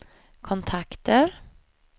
kontakter